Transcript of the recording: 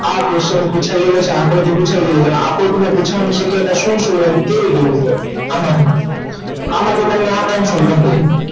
આ question પૂછાઈ ગયેલો છે આકૃતિ પૂછાઈ ગઈ અને શક્યતા શું શું હોય તે જોવું હોય આમાંથી તમને